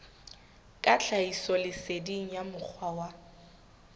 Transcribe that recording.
ka tlhahisoleseding ya mokgwa wa